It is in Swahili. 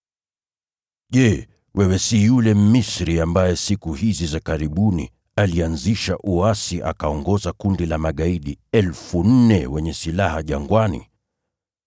Je, wewe si yule Mmisri ambaye siku hizi za karibuni alianzisha uasi akaongoza kundi la magaidi 4,000 wenye silaha jangwani?”